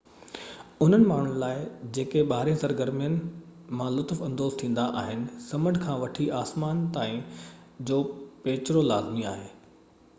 انهن ماڻهن لاءِ جيڪي ٻاهرين سرگرمين مان لطف اندوز ٿيندا آهن سمنڊ کان وٺي آسمان تائين جو پيچرو لازمي آهي